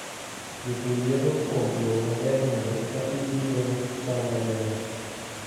Jopur geno kuom lowo maber mondo eka gipidho cham mabeyo.